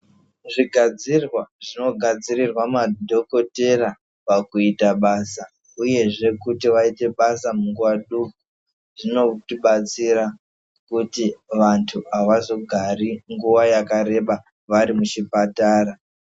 Zvigadzirwa zvinogadzirirwa madhogodheya pakuita basa uyezve pakuti vaite basa munguva duku, zvinotibatsira kuti vantu havazogari nguva yakareba varimuchipatara.